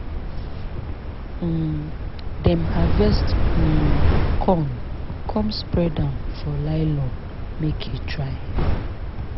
um dem harvest um corn come spread am for lylon make e dry.